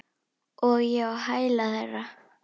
Og ég á hæla þeirra.